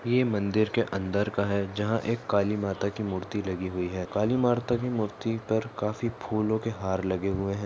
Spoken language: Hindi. ये मंदिर के अंदर का है जहा एक काली माता की मूर्ति लगी हुई है काली माता की मूर्ति तर काफी फुल के हार लगे हुए है।